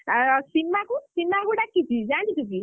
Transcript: ଆଉ ସୀମାକୁ ଡାକିଛି ଜାଣିଛୁ କି?